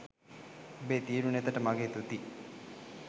ඹබේ තියුණු නෙතට මගේ තුති